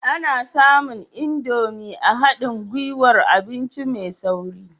Ana samun Indomie a haɗin gwiwar abinci mai sauri